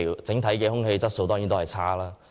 整體空氣質素當然差。